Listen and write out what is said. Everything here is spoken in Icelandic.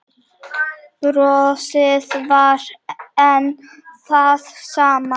Brosið var enn það sama.